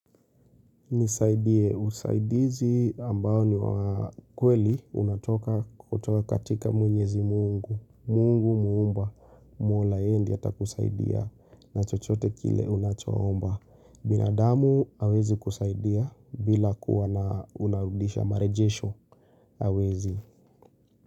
Nisaidie, usaidizi ambao ni wa kweli unatoka kutoka katika mwenyezi mungu. Mungu muumba, mola yeye ndiye ata kusaidia na chochote kile unacho omba. Binadamu hawezi kusaidia bila kuwa na unarudisha marejesho hawezi.